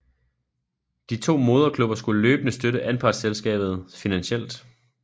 De to moderklubber skulle løbende støtte anpartselskabet finansielt